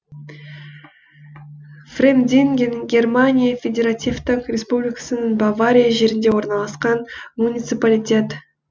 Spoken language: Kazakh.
фремдинген германия федеративтік республикасының бавария жерінде орналасқан муниципалитет